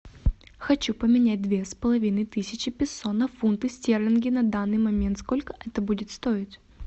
хочу поменять две с половиной тысячи песо на фунты стерлинги на данный момент сколько это будет стоить